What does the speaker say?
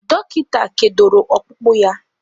Dọkịta kedoro ọkpụkpụ ya.